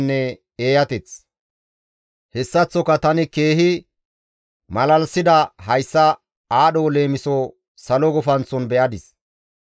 Hessaththoka tana keehi malalisida hayssa aadho leemiso salo gufanththon be7adis.